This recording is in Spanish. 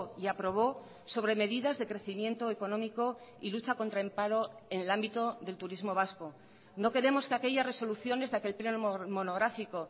y aprobó sobre medidas de crecimiento económico y lucha contra el paro en el ámbito del turismo vasco no queremos que aquellas resoluciones de aquel pleno monográfico